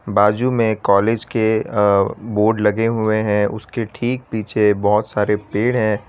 बाजू में कॉलेज के अ बोर्ड लगे हुए है उसके ठीक पीछे बहोत सारे पेड़ है।